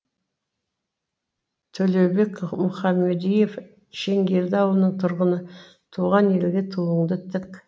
төлеубек мұқамадиев шеңгелді ауылының тұрғыны туған елге туыңды тік